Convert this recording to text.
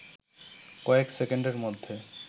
কয়েক সেকেন্ডের মধ্যে